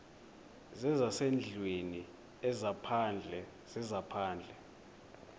zezasendlwini ezaphandle zezaphandle